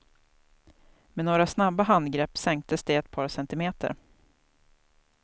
Med några snabba handgrepp sänktes det ett par centimeter.